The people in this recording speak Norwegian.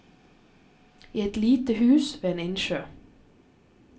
I et lite hus ved en innsjø.